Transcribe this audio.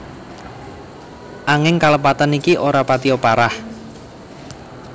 Anging kalepatan iki ora patia parah